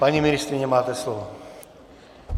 Paní ministryně, máte slovo.